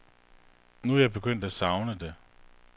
Nu er jeg begyndt at savne det.